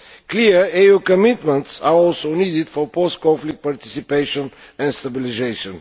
Clear EU commitments are also needed for post conflict participation and stabilisation.